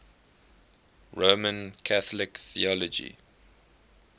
roman catholic theology